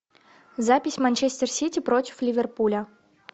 запись манчестер сити против ливерпуля